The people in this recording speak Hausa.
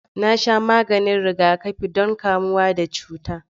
Na sha maganin rigakafi don kamuwa da cuta.